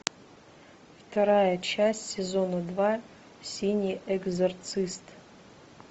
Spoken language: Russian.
вторая часть сезона два синий экзорцист